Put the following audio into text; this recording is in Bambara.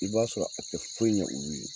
I b'a sɔrɔ a tɛ foyi ɲɛ olu ye